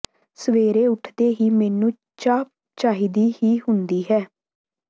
ਸਵੇਰੇ ਉਠਦੇ ਹੀ ਮੈਨੂੰ ਚਾਹ ਚਾਹੀਦੀ ਹੀ ਹੁੰਦੀ ਹੈ